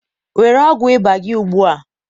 were ọgwụ ịba gị ugbu a